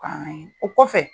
o kɔfɛ